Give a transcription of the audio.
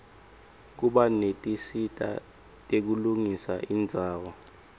kuba netinsita tekulungisa indzawo